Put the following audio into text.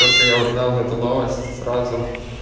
только я узнал эту новость сразу